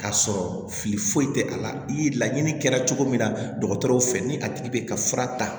K'a sɔrɔ fili foyi tɛ a la i laɲini kɛra cogo min na dɔgɔtɔrɔw fɛ ni a tigi bɛ ka fura ta